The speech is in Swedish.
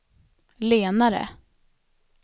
lenare